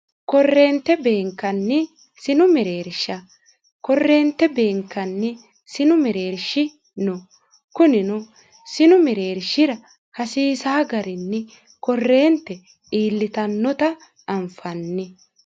korreente beenkanni sinu mireersha korreente beenkanni sinu mireershi no kunino sinu mireershira hasiisa garinni korreente iillitannota anfanni